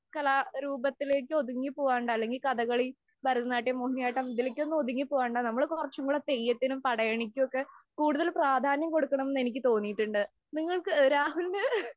കലാരൂപത്തിലേക്ക് ഒതുങ്ങി പോവാണ്ട് അല്ലെങ്കില്‍ കഥകളി, ഭരതനാട്യം, മോഹിനിയാട്ടം ഇതിലേക്കൊക്കെ ഒതുങ്ങി പോകാണ്ട് നമ്മള് കൊറച്ച് തെയ്യത്തിനും, പടയണിക്കും ഒക്കെ കൂടുതല്‍ പ്രാധാന്യം കൊടുക്കണം എന്ന് എനിക്ക് തോന്നിയിട്ടുണ്ട്. നിങ്ങള്‍ക്ക്, രാഹുലിന്